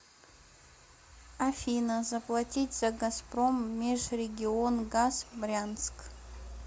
афина заплатить за газпром межрегионгаз брянск